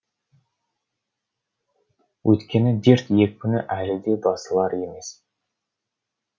өйткені дерт екпіні әлі де басылар емес